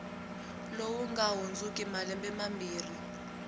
lowu nga hundziki malembe mambirhi